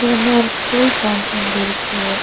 பின்ன ஒரு school ground மாதிரி இருக்கு.